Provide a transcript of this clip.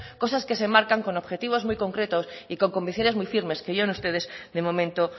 cosas que se marcan con objetivos muy concretos y con convicciones muy firmes que yo en ustedes de momento